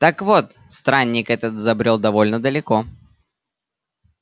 так вот странник этот забрёл довольно далеко